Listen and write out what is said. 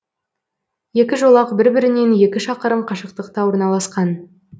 екі жолақ бір бірінен екі шақырым қашықтықта орналасқан